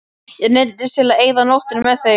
Ég neyddist til að eyða nóttinni með þeim.